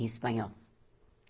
Em espanhol.